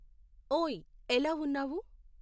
ఓయ్ ఎలా ఉన్నావు